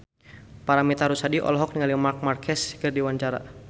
Paramitha Rusady olohok ningali Marc Marquez keur diwawancara